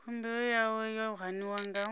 khumbelo yawe yo haniwa nga